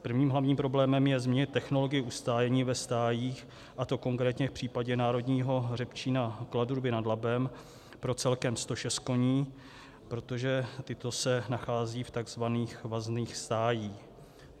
Prvním hlavním problémem je změna technologie ustájení ve stájích, a to konkrétně v případě Národního hřebčína Kladruby nad Labem, pro celkem 106 koní, protože tito se nacházejí v tzv. vazných stájích.